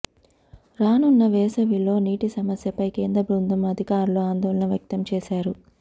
రానున్న వేసవి లో నీటి సమస్యపై కేంద్ర బృందం అధికారులు ఆందోళన వ్యక్తం చేశారు